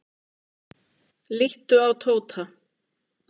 Líttu á Tóta.